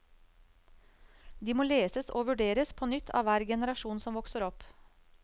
De må leses og vurderes på nytt av hver generasjon som vokser opp.